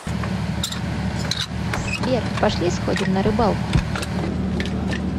сбер пошли сходим на рыбалку